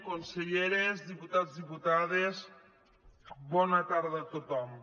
conselleres diputats diputades bona tarda a tothom